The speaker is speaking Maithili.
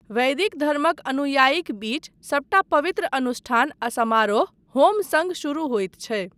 वैदिक धर्मक अनुयायीक बीच सबटा पवित्र अनुष्ठान आ समारोह होम सङ्ग शुरू होइत छै।